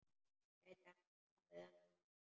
Gæti hann staðist hana?